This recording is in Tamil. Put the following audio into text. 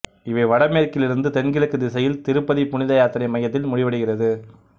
இவை வடமேற்கிலிருந்து தென்கிழக்கு திசையில் திருப்பதி புனித யாத்திரை மையத்தில் முடிவடைகிறது